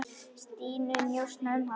Stínu, njósna um hana.